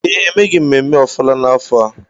ee, emeghị mmemme ọfala n'afọ a